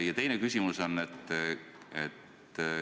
Ja teine küsimus.